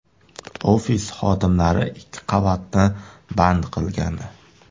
Ofis xodimlari ikki qavatni band qilgandi.